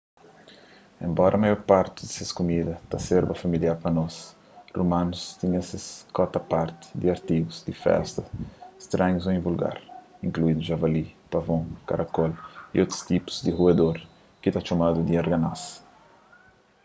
enbora maior parti di ses kumida ta serba familiar pa nos romanus tinha ses kota-parti di artigus di festa stranhus ô invulgar inkluindu javalis pavon karacól y un tipu di ruedor ki ta txomadu di arganaz